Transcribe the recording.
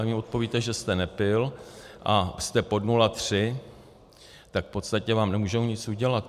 A vy odpovíte, že jste nepil, a jste pod 0,3, tak v podstatě vám nemůžou nic udělat.